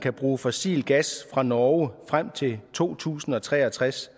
kan bruge fossil gas fra norge frem til to tusind og tre og tres